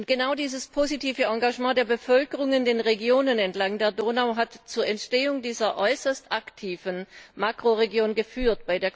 Genau dieses positive Engagement der Bevölkerung in den Regionen entlang der Donau hat zur Entstehung dieser äußerst aktiven Makroregion geführt.